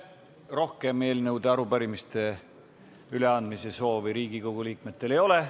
Rohkem eelnõude ja arupärimiste üleandmise soovi Riigikogu liikmetel ei ole.